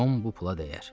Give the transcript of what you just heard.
Tom bu pula dəyər.